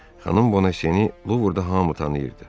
Xanım Bonasiye, bu burda hamı tanıyırdı.